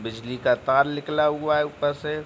बिजली का तार निकला हुआ है ऊपर से।